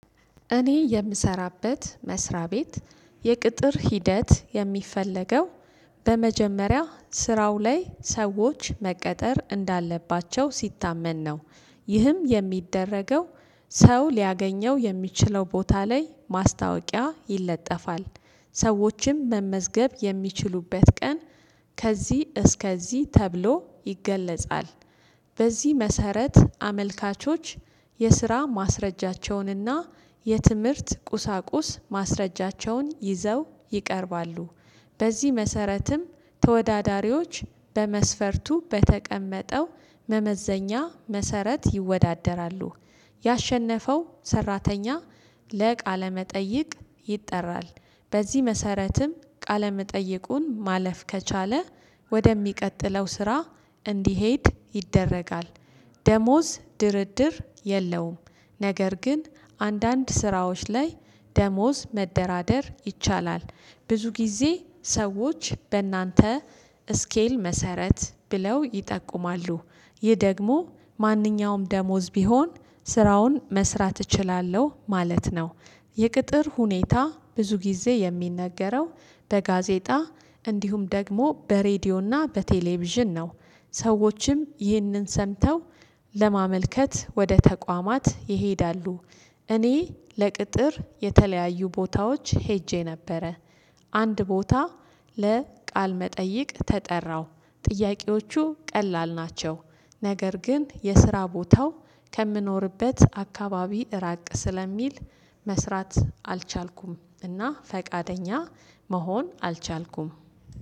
እኔ የምሰራበት መስሪያ ቤት የቅጥር ሂደት የሚፈለገው በመጀመሪያ ስራው ላይ ሰዎች መቀጠር እንዳለባቸው ሲታመን ነው። ይህም የሚደረገው ሰው ሊያገኘው የሚችለው ቦታ ላይ ማስታወቂያ ይለጠፋል። ሰዎችም መመዝገብ የሚችሉበት ቀን ከዚህ እስከዚህ ተብሎ ይገለጻል። በዚህ መሰረት አመልካቾች የስራ ማስረጃቸውንና የትምህርት ቁሳቁስ ማስረጃቸውን ይዘው ይቀርባሉ። በዚህ መሰረትም ተወዳዳሪዎች በመስፈርቱ በተቀመጠው መመዘኛ መሰረት ይወዳደራሉ። ያሸነፈው ሰራተኛ ለቃለመጠይቅ ይጠራል። በዚህ መሰረትም ቃለ መጠየቁን ማለፍ ከቻለ ወደሚቀጥለው ስራ እንዲሄድ ይደረጋል። ደሞዝ ድርድር የለውም። ነገር ግን አንዳንድ ስራዎች ላይ ደሞዝ መደራደር ይቻላል። ብዙ ጊዜ ሰዎች በእናንተ ስኬል መሰረት ብለው ይጠቁማሉ። ይህ ደግሞ ማንኛውም ደሞዝ ቢሆን ስራውን መስራት እችላለሁ ማለት ነው። የቅጥር ሁኔታ ብዙ ጊዜ የሚነገረው በጋዜጣ እንዲሁም ደግሞ በሬዲዮና በቴሌቪዥን ነው። ሰዎችም ይህንን ሰምተው ለማመልከት ወደ ተቋማት ይሄዳሉ። እኔ ለቅጥር የተለያዩ ቦታዎች ሄጄ ነበረ። አንድ ቦታ ለቃል መጠይቅ ተጠራው ጥያቄዎቹ ቀላል ናቸው። ነገር ግን የስራ ቦታው ከምኖርበት አካባቢ እራቅ ስለሚል መስራት አልቻልኩም እና ፈቃደኛ መሆን አልቻልኩም።